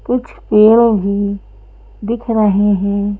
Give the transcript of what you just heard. कुछ पेड़ भी दिख रहे हैं।